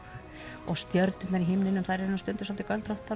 og stjörnurnar í himninum eru nú stundum svolítið